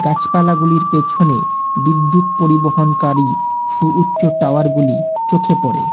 গাছপালাগুলির পেছনে বিদ্যুৎ পরিবহনকারী সুউচ্চ টাওয়ারগুলি চোখে পড়ে।